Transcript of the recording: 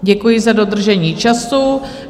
Děkuji za dodržení času.